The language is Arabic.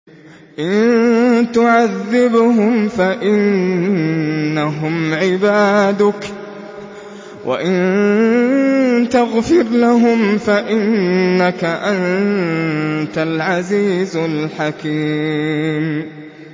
إِن تُعَذِّبْهُمْ فَإِنَّهُمْ عِبَادُكَ ۖ وَإِن تَغْفِرْ لَهُمْ فَإِنَّكَ أَنتَ الْعَزِيزُ الْحَكِيمُ